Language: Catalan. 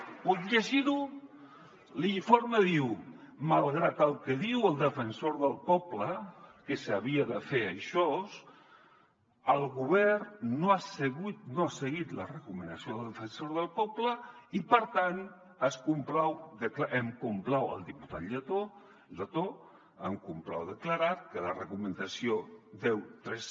bé puc llegir ho l’informe diu malgrat el que diu el defensor del poble que s’havia de fer això el govern no ha seguit la recomanació del defensor del poble i per tant em complau el diputat letó declarar que la recomanació cent i tres